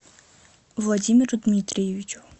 владимиру дмитриевичу